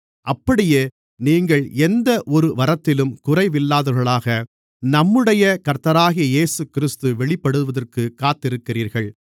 அப்படியே நீங்கள் எந்த ஒரு வரத்திலும் குறைவில்லாதவர்களாக நம்முடைய கர்த்தராகிய இயேசுகிறிஸ்து வெளிப்படுவதற்குக் காத்திருக்கிறீர்கள்